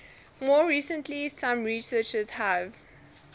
more recently some researchers have